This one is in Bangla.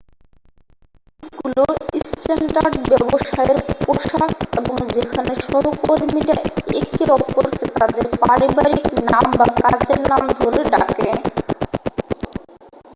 স্যুটগুলো স্ট্যান্ডার্ড ব্যবসায়ের পোশাক এবং যেখানে সহকর্মীরা একে অপরকে তাদের পারিবারিক নাম বা কাজের নাম ধরে ডাকে